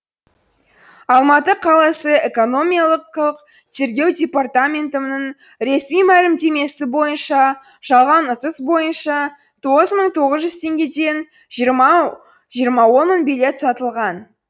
алматы қаласы экономикалық тергеу департаментінің ресми мәлімдемесі бойынша жалған ұтыс бойынша тоғыз мың тоғыз жүз теңгеден жиырма мың билет сатылған